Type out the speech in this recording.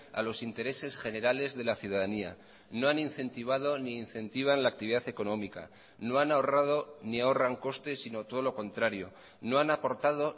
a los intereses generales de la ciudadanía no han incentivado ni incentivan la actividad económica no han ahorrado ni ahorran costes sino todo lo contrario no han aportado